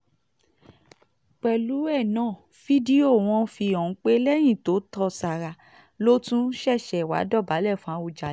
pẹ̀lú ẹ náà fídíò wọn fi hàn pé lẹ́yìn tó tó sára ló tún ṣẹ̀ṣẹ̀ wáá dọ̀bálẹ̀ fún àwùjalè